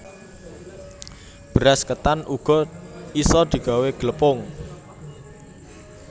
Beras ketan uga isa digawé glepung